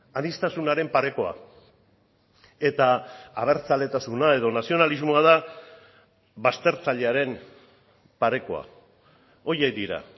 aniztasunaren parekoa eta abertzaletasuna edo nazionalismoa da baztertzailearen parekoa horiek dira